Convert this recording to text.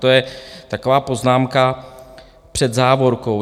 To je taková poznámka před závorkou.